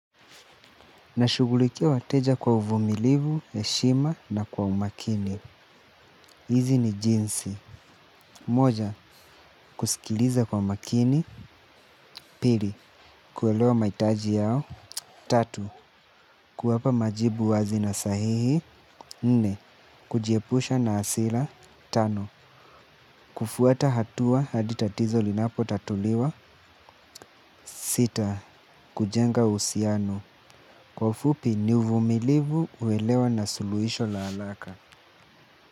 Na shughulikia wateja kwa uvumilivu heshima na kwa umakini. Hizi ni jinsi. Moja, kusikiliza kwa umakini. Pili, kuelewa mahitaji yao. Tatu, kuwapa majibu wazi na sahihi. Nne, kujiepusha na hasira. Tano, kufuata hatua hadi tatizo linapo tatuliwa. Sita, kujenga uhusiano. Kwa ufupi ni uvumilivu uelewa na suluisho la haraka.